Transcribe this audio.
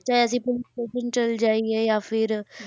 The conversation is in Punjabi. ਚਾਹੇ ਅਸੀਂ ਪੁਲਿਸ station ਚਲੇ ਜਾਈਏ ਜਾਂ ਫਿਰ